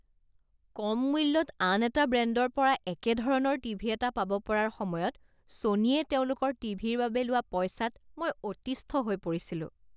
কম মূল্যত আন এটা ব্ৰেণ্ডৰ পৰা একেধৰণৰ টিভি এটা পাব পৰাৰ সময়ত ছ'নীয়ে তেওঁলোকৰ টিভিৰ বাবে লোৱা পইচাত মই অতিষ্ঠ হৈ পৰিছিলোঁ।